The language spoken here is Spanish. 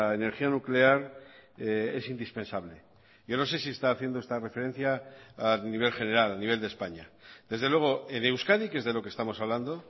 energía nuclear es indispensable yo no sé si está haciendo esta referencia a nivel general a nivel de españa desde luego de euskadi que es de lo que estamos hablando